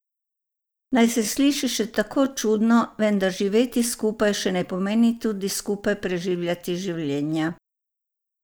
Naj se sliši še tako čudno, vendar živeti skupaj še ne pomeni tudi skupaj preživljati življenja.